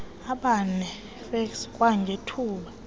abane fas kwangethuba